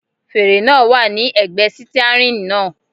Fèrè náà wà ní ẹ̀gbẹ́ sítíárìn náà.